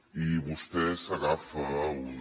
i vostè s’agafa a una